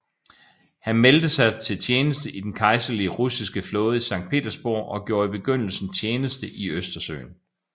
Han meldte sig til tjeneste i Den kejserlige russiske flåde i Sankt Petersborg og gjorde i begyndelsen tjeneste i Østersøen